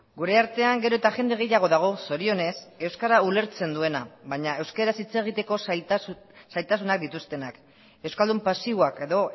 gurea artean gero eta jende gehiago dago zorionez euskara ulertzen duena baina euskaraz hitz egiteko zailtasunak dituztenak euskaldun pasiboak edo